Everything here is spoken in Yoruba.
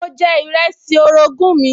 Mo jẹ ìrẹsì orogún mi